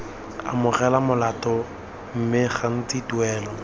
amogela molato mme gantsi tuelo